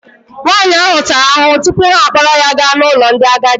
Nwaanyị ahụ tara ahụhụ tupu ha akpọrọ ya gaa n'ụlọ ndị agadi.